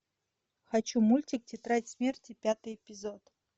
хочу мультик тетрадь смерти пятый эпизод